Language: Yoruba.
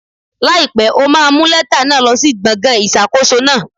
Láìpẹ́, o máa mú lẹ́tà náà lọ sí gbọ̀ngàn ìṣàkóso náà.